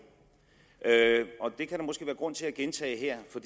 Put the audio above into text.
og det kan der måske være grund til at gentage her for